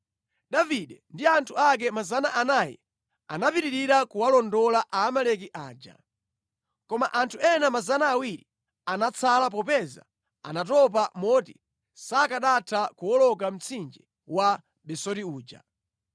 Davide ndi anthu ake 400 anapitirira kuwalondola Aamaleki aja. Koma anthu ena 200 anatsala popeza anatopa moti sakanatha kuwoloka mtsinje wa Besori uja.